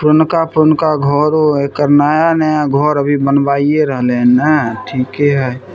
पुरनका-पुरनका घरों हई एकर नया-नया घर अभी बनबाइये रहले न ठिके हई।